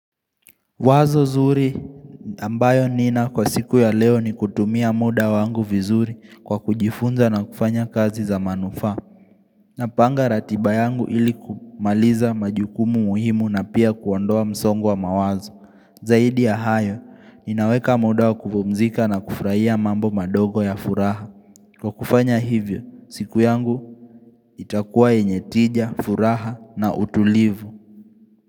Wazo zuri ambayo nina kwa siku ya leo ni kutumia muda wangu vizuri kwa kujifunza na kufanya kazi za manufaa. Napanga ratiba yangu ili kumaliza majukumu muhimu na pia kuondoa msongo wa mawazo. Zaidi ya hayo, inaweka muda wa kupumzika na kufraia mambo madogo ya furaha. Kwa kufanya hivyo, siku yangu itakuwa yenye tija, furaha na utulivu.